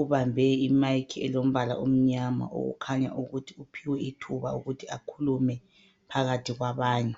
ubambe imayikhi elombala omnyama okukhanya ukuthi uphiwe ithuba ukuthi akhulume phakathi kwabanye.